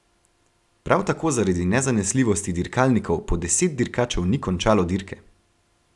Prav tako zaradi nezanesljivosti dirkalnikov po deset dirkačev ni končalo dirke.